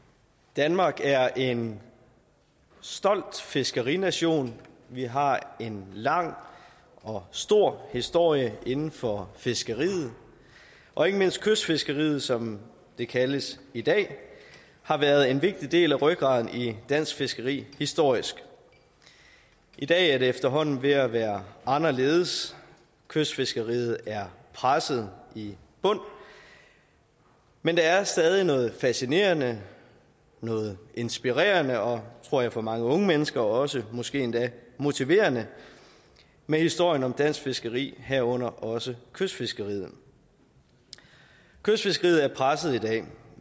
danmark er en stolt fiskerination vi har en lang og stor historie inden for fiskeriet og ikke mindst kystfiskeriet som det kaldes i dag har været en vigtig del af rygraden i dansk fiskeri historisk i dag er det efterhånden ved at være anderledes kystfiskeriet er presset i bund men der er stadig noget fascinerende noget inspirerende og tror jeg for mange unge mennesker også måske endda motiverende ved historien om dansk fiskeri herunder også kystfiskeriet kystfiskeriet er presset i dag